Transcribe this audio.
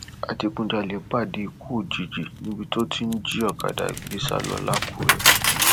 adigunjalè pàdé ikú òjijì níbi tó ti ń jí ọkadà gbé sá lọ làkúrè